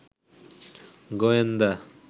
গোয়েন্দা